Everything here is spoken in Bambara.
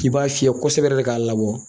K'i b'a fiyɛ kosɛbɛ yɛrɛ k'a labɔ